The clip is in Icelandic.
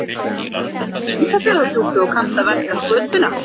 Og þú ert alinn upp í Ísafjarðardjúpi og kannt að verka skötuna?